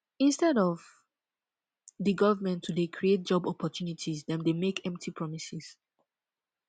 instead of the government to dey create job opportunities dem dey make empty promises